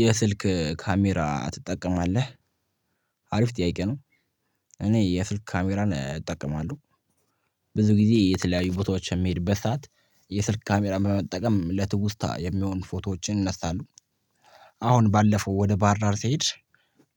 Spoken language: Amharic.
የስልክ ካሜራ ትጠቀማለህ? አሪፍ ጥያቄ ነው እኔ የስልክ ካሜራን እጠቀማለሁ። ብዙ ጊዜ የተለያዩ ቦታዎች በሚሄድበት ሰዓት የስልክ ካሜራ በመጠቀም ለትውስታ የሚሆን ፎቶዎችን እናሳለሁ። አሁን ባለፈው ወደ ባህርዳር ስሄድ